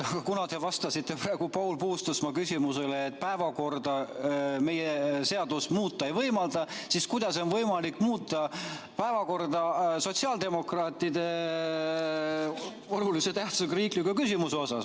Kuna te vastasite praegu Paul Puustusmaa küsimusele, et päevakorda meie seadus muuta ei võimalda, siis ma küsin, kuidas on võimalik muuta päevakorda sotsiaaldemokraatide olulise tähtsusega riikliku küsimuse puhul.